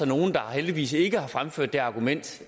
nogle der heldigvis ikke har fremført det argument